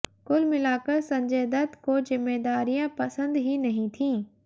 कुल मिलाकर संजय दत्त को ज़िम्मेदारियां पसंद ही नहीं थीं